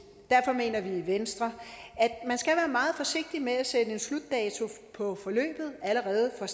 derfor mener vi i venstre at meget forsigtig med at sætte en slutdato på forløbet allerede fra